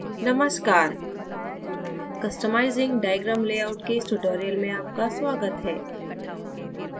नमस्कार customizing diagram layout के इस tutorial में आपका स्वागत है